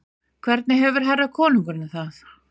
Hvernig hefur herra konungurinn það?